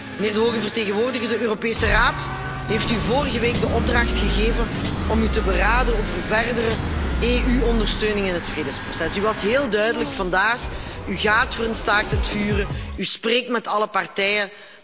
Mijnheer de hoge vertegenwoordiger, de Europese Raad heeft u vorige week de opdracht gegeven om u te beraden over verdere EU ondersteuning in het vredesproces. U was heel duidelijk vandaag u gaat voor een staakt het vuren, u spreekt met alle partijen.